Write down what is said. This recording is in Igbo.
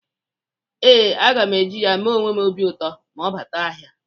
Ee, aga m e ji ya mee onwe m obi ụtọ ma m bata ahịa.